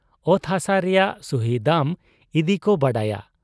ᱚᱛ ᱦᱟᱥᱟ ᱨᱮᱭᱟᱝ ᱥᱩᱦᱤ ᱫᱟᱢ ᱤᱫᱤᱠᱚ ᱵᱟᱰᱟᱭᱟ ᱾